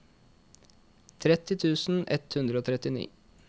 tretti tusen ett hundre og trettini